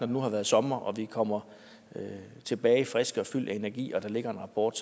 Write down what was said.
nu har været sommer og vi kommer tilbage friske og fyldte af energi og der ligger en rapport